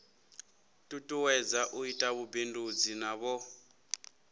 tutuwedza u ita vhubindudzi navho